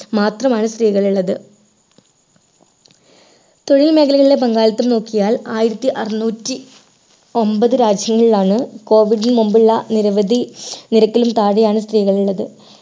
മാത്രമാണ് സ്ത്രീകൾ ഉള്ളത് തൊഴിൽ മേഖലയിലെ പങ്കാളിത്തം നോക്കിയാൽ ആയിരത്തിഅറന്നൂറ്റി ഒമ്പത് രാജ്യങ്ങളിലാണ് COVID നു മുമ്പുള്ള നിരവധി നിരക്കിലും താഴെയാണ് സ്ത്രീകളുള്ളത്